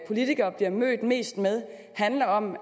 politiker bliver mødt mest med handler om